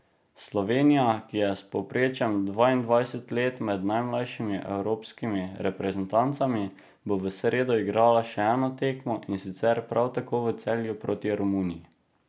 Slovenija, ki je s povprečjem dvaindvajset let med najmlajšimi evropskimi reprezentancami, bo v sredo igrala še eno tekmo, in sicer prav tako v Celju proti Romuniji.